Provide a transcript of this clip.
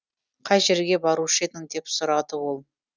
қай жерге барушы едің деп сұрады ол